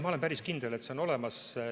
Ma olen päris kindel, et see on olemas.